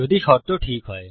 যদি শর্ত ঠিক হয়